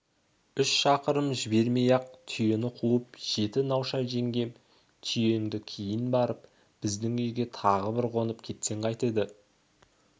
үш шақырым жібермей ақ түйені қуып жетті науша жеңгем түйеңді кейін бұрып біздің үйге тағы бір қонып кетсең қайтеді